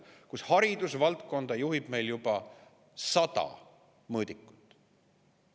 Näiteks haridusvaldkonda juhib meil juba sada mõõdikut.